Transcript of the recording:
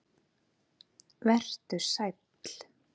Vertu sæll.